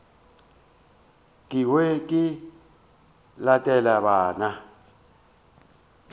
ke hwe ke latele bana